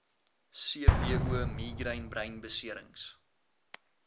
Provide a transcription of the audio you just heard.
cvo migraine breinbeserings